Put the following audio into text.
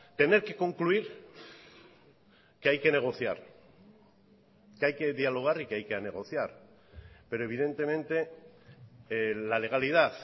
tener que concluir que hay que negociar que hay que dialogar y que hay que negociar pero evidentemente la legalidad